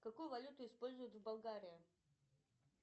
какую валюту используют в болгария